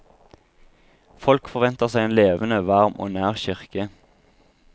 Folk forventer seg en levende, varm og nær kirke.